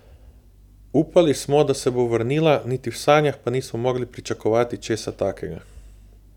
Upali smo, da se bo vrnila, niti v sanjah pa nismo mogli pričakovati česa takega.